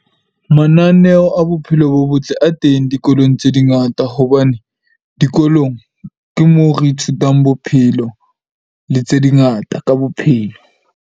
Mananeo a bophelo bo botle a teng dikolong tse di ngata hobane, dikolong ke mo re ithutang bophelo le tse di ngata ka bophelo.